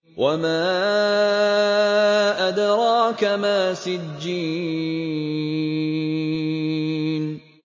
وَمَا أَدْرَاكَ مَا سِجِّينٌ